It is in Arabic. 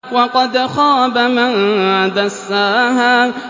وَقَدْ خَابَ مَن دَسَّاهَا